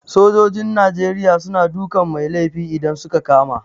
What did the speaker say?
Sojojin Nigeria suna dukan mai laifi idan suka kama